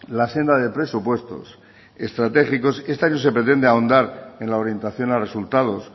la senda de presupuestos estratégicos este año se pretende ahondar en la orientación a resultados